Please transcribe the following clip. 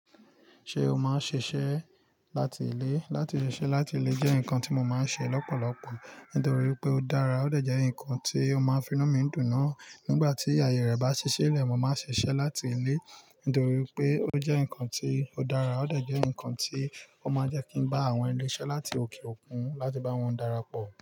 Ṣé o máa ń ṣiṣẹ́ láti ilé? Látí le se láti lé jẹ́ nǹkan tí mo máa ń ṣe lọ́pọ̀lọpọ̀ nítorí wipé ó dára, ó dẹ̀ jẹ́ ǹkan tí ó máa ń fi inu mi dùn náa. Nígbà tí ààyè rẹ̀ bá ṣi ṣile, mo máa ṣiṣẹ́ láti ilé nítorí wipé ó jẹ́ ǹkan tí ó dára, ó dẹ̀ jẹ́ ǹkan tí ó máa jẹ́ kí ń bá àwọn ilé iṣẹ́ láti òkè òkun láti bá wọn darapọ̀.